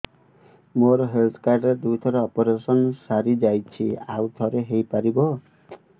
ମୋର health card ରେ ଦୁଇ ଥର ଅପେରସନ ସାରି ଯାଇଛି ଆଉ ଥର ହେଇପାରିବ